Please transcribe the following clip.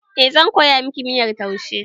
Eh, zan koya miki miyar taushe